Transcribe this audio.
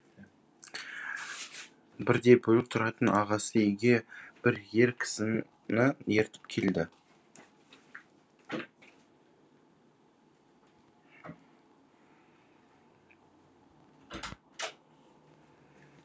бірде бөлек тұратын ағасы үйге бір ер кісіні ертіп келді